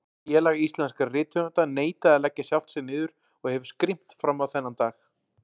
Félag íslenskra rithöfunda neitaði að leggja sjálft sig niður og hefur skrimt frammá þennan dag.